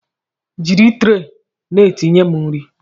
Jiri tre na-etinyere m nri!